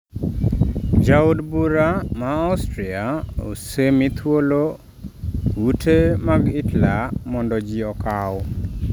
Jo od bura mag Austria osemi thuolo ute mag Hitler mondo ji okaw